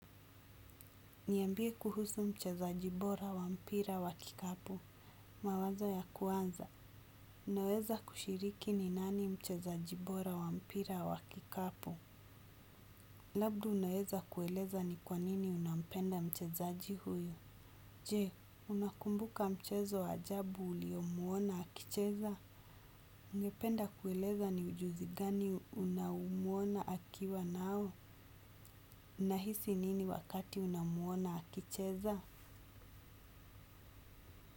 Niambie kuhusu mchezaji bora wa mpira wa kikapu. Mawazo ya kuanza. Unaweza kushiriki ni nani mchezaji bora wa mpira wa kikapu. Labda unaweza kueleza ni kwa nini unapenda mchezaji huyo. Je, unakumbuka mchezo ajabu uliomuona akicheza? Ungependa kueleza ni ujuzi gani unaomuona akiwa nao? Unahisi nini wakati unamuona akicheza?